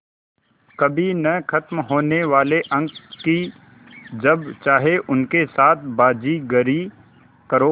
कभी न ख़त्म होने वाले अंक कि जब चाहे उनके साथ बाज़ीगरी करो